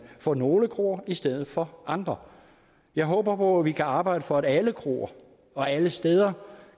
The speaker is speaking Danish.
for nogle kroer i stedet for andre jeg håber håber vi kan arbejde for at alle kroer og alle steder